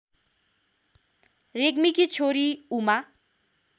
रेग्मीकी छोरी उमा